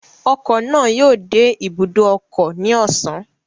Ọkọ̀ náà yóò dé ibùdó ọkọ̀ ní ọ̀sán